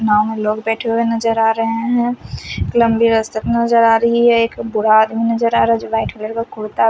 नाव में लोग बेठे हुए नज़र आ रहे है नज़र आ रही है एक बुरा आदमी नज़र आ रहा है जो वाइट कलर का कुर्ता--